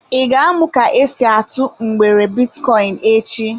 I ga-amụ ka esi atụ mgbere bitcoin echi?